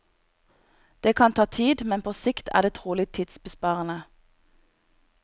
Det kan ta tid, men på sikt er det trolig tidsbesparende.